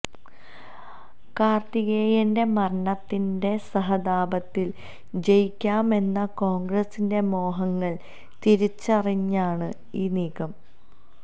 കാർത്തികേയന്റെ മരണത്തിന്റെ സഹതാപത്തിൽ ജയിക്കാമെന്ന കോൺഗ്രസിന്റെ മോഹങ്ങൾ തിരിച്ചറിഞ്ഞാണ് ഈ നീക്കം